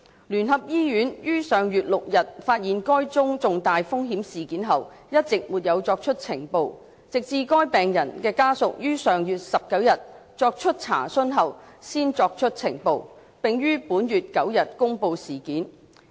聯合醫院於上月6日發現該宗重大風險事件後一直沒有作出呈報，直至該病人的家屬於上月19日作出查詢後才作出呈報，並於本月9日公布事件。